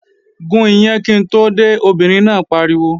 Gún iyán kí n tó dé, obìnrin náà pariwo!